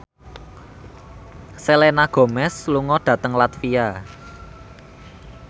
Selena Gomez lunga dhateng latvia